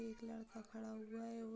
एक लड़का खड़ा हुआ है और --